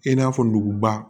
I n'a fɔ nuguba